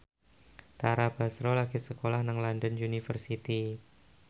Tara Basro lagi sekolah nang London University